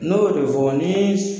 Ne y' o de fo wa nin